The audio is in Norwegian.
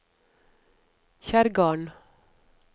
Kjerrgarden